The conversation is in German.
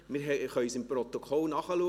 Wir können es im Protokoll nachschauen.